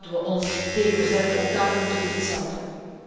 Ook daar moeten we ons tegen verzetten, ook daar moeten we iets aan doen.